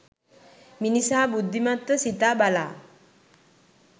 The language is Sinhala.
මිනිසා බුද්ධිමත්ව සිතා බලා